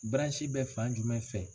bɛ fan jumɛn fɛ?